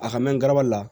A ka mɛn garabali la